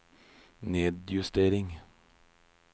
nedjustering